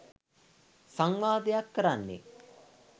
සංවාදයක් කරන්නේ